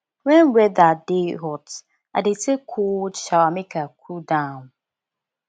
wen weather dey hot i dey take cold shower make i cool down